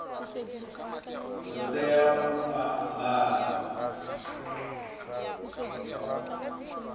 ḓo tea u a ambara